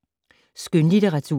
Skønlitteratur